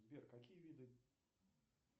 сбер какие виды